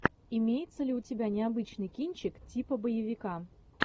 имеется ли у тебя необычный кинчик типа боевика